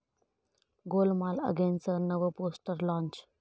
गोलमाल अगेन'चं नवं poster launch